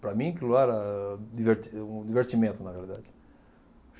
Para mim aquilo era diverti um divertimento, na verdade.